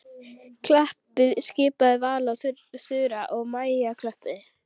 Klappiði skipaði Vala og Þura og Maja klöppuðu.